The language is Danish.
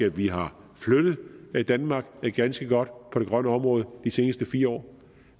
at vi har flyttet danmark ganske godt på det grønne område i de sidste fire år